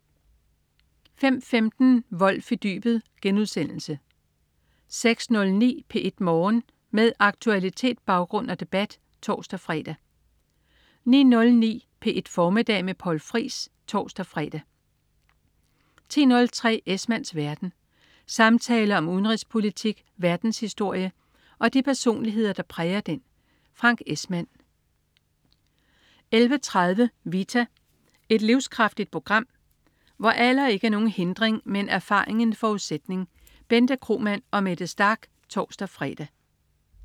05.15 Wolff i dybet* 06.09 P1 Morgen. Med aktualitet, baggrund og debat (tors-fre) 09.09 P1 Formiddag med Poul Friis (tors-fre) 10.03 Esmanns verden. Samtaler om udenrigspolitik, verdenshistorie og de personligheder, der præger den. Frank Esmann 11.30 Vita. Et livskraftigt program, hvor alder ikke er nogen hindring, men erfaring en forudsætning. Bente Kromann og Mette Starch (tors-fre)